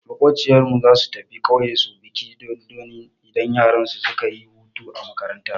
Maƙociyar mu zasu tafi ƙauyen su bikin dodonni idan yaransu suka yi hutu a makaranta.